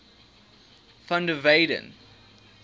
van der weyden